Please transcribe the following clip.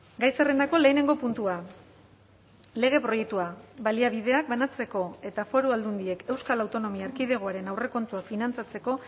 gai zerrendako lehenengo puntua lege proiektua baliabideak banatzeko eta foru aldundiek euskal autonomia erkidegoaren aurrekontuak finantzatzeko